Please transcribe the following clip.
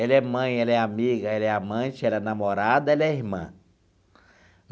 Ela é mãe, ela é amiga, ela é amante, ela é namorada, ela é irmã.